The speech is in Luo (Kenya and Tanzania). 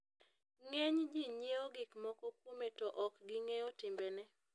ng'eny ji nyiewo gik moko kuome to ok ging'eyo timbene